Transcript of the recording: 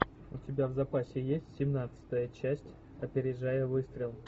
у тебя в запасе есть семнадцатая часть опережая выстрел